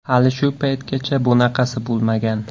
Hali shu paytgacha bunaqasi bo‘lmagan.